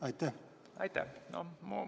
Aitäh!